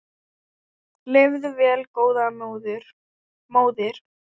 Lifðu vel góða móðir.